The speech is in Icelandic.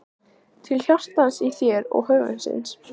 Til hjartans í þér og höfuðsins.